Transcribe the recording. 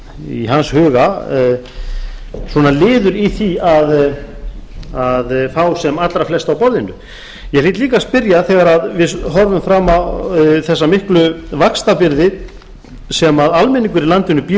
í hans huga svona liður í því að fá sem allra flest að borðinu ég hlýt líka að spyrja þegar við horfum fram á þessa miklu vaxtabyrði sem almenningur í landinu býr